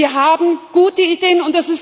Wir haben gute Ideen.